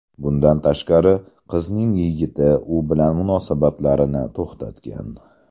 Bundan tashqari, qizning yigiti u bilan munosabatlarini to‘xtatgan.